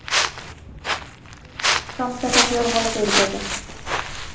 Fagna tilmælum Samtaka fjármálafyrirtækja